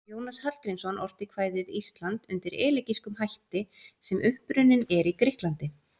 Jónas Hallgrímsson orti kvæðið Ísland undir elegískum hætti sem upprunninn er í Grikklandi.